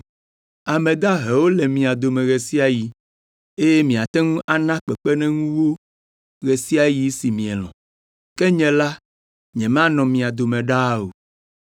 Ame dahewo le mia dome ɣe sia ɣe eye miate ŋu ana kpekpeɖeŋu wo ɣe sia ɣi si mielɔ̃, ke nye la, nyemanɔ mia dome ɖaa o.